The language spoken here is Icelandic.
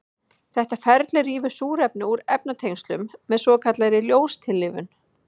Þetta ferli rýfur súrefni úr efnatengslum með svokallaðri ljóstillífun.